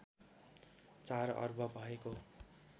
४ अर्ब भएको